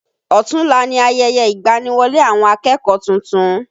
Ọ̀tunla ni ayẹyẹ ìgbani-wọlé àwọn akẹ́kọ̀ọ́ tuntun